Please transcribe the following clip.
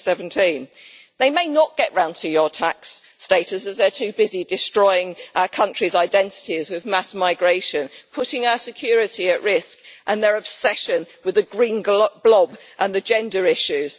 2017. They may not get round to your tax status, as they're too busy destroying our countries' identities with mass migration, putting our security at risk, and their obsession with the Green Blob and gender issues.